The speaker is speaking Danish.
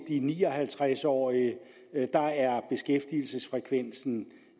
ni og halvtreds årige er beskæftigelsesfrekvensen